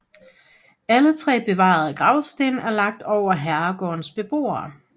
Alle tre bevarede gravsten er lagt over herregårdens beboere